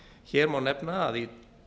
hér má nefna að í